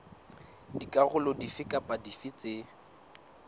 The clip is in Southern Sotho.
dikarolo dife kapa dife tse